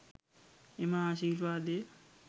එම ආශිර්වාදය